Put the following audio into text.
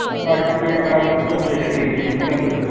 ਕਰਕੇ ਗੱਲ ਫਿਰ ਵੇਖ ਲਈ ਠੀਕ ਆ ਫਿਰ